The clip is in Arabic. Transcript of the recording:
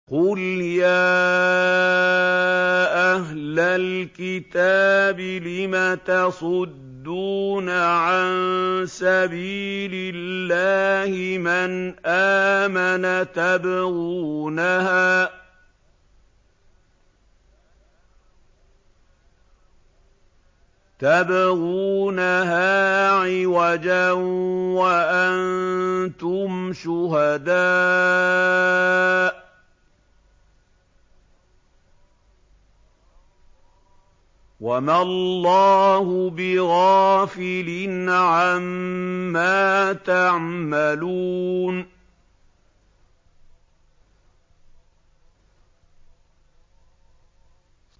قُلْ يَا أَهْلَ الْكِتَابِ لِمَ تَصُدُّونَ عَن سَبِيلِ اللَّهِ مَنْ آمَنَ تَبْغُونَهَا عِوَجًا وَأَنتُمْ شُهَدَاءُ ۗ وَمَا اللَّهُ بِغَافِلٍ عَمَّا تَعْمَلُونَ